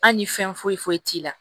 Hali ni fɛn foyi foyi t'i la